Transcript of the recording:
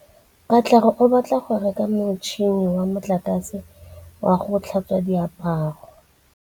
Katlego o batla go reka motšhine wa motlakase wa go tlhatswa diaparo.